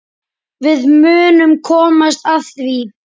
Við munum komast að því.